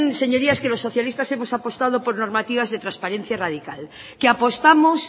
señorías que los socialistas hemos apostado por normativas de transparencias radicales que apostamos